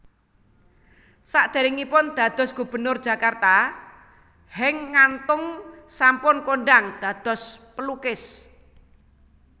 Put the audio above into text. Sadèrèngipun dados Gubernur Jakarta Henk Ngantung sampun kondhang dados pelukis